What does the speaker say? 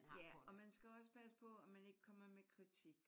Ja og man skal også passe på at man ikke kommer med kritik